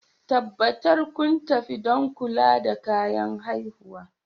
Tabbatar kun tafi don kula da bayan haihuwa